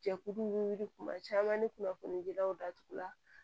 Jɛkulu ni wuli kuma caman ni kunnafoni dilaw datugula